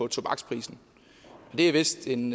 tobaksprisen og det er vist en